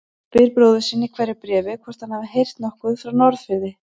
Spyr bróður sinn í hverju bréfi hvort hann hafi heyrt nokkuð frá Norðfirði.